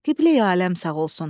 Qibleyi aləm sağ olsun.